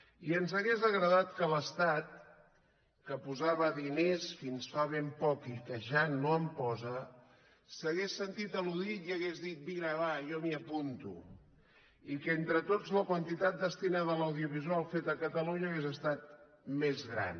i ens hauria agradat que l’estat que hi posava diners fins fa ben poc i que ja no en posa s’hagués sentit al·ludit i hagués dit vinga va jo m’hi apunto i que entre tots la quantitat destinada a l’audiovisual fet a catalunya hagués estat més gran